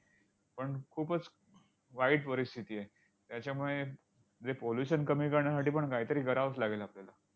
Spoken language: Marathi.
पण खूपच वाईट परिस्थिती आहे. त्याच्यामुळे जे pollution कमी करण्यासाठी पण काहीतरी करावंच लागेल आपल्याला.